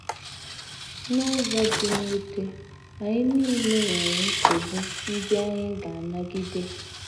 N’ụzọ dị mwute, anyị nile nwere nsogbu ndị anyị ga - anagide. ”